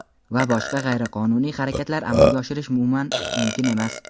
va boshqa g‘ayriqonuniy harakatlar amalga oshirish umuman mumkin emas.